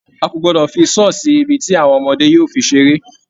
A kò gbọdọ̀ fi saw sí ibi tí àwọn ọmọdé yóò fi seré.